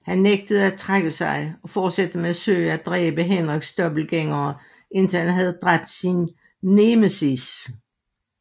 Han nægter at trække sig og fortsætter med at søge at dræbe Henriks dobbeltgængere indtil han havde dræbt sin nemesis